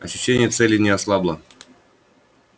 ощущение цели не ослабло